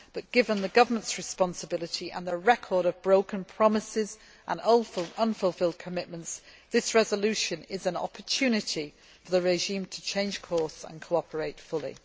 Given the government's responsibility and record of broken promises and unfulfilled commitments, this resolution is an opportunity for the regime to change course and cooperate fully.